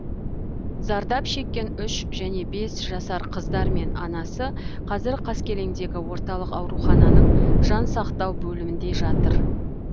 зардап шеккен үш және бес жасар қыздар мен анасы қазір қаскелеңдегі орталық аурухананың жан сақтау бөлімінде жатыр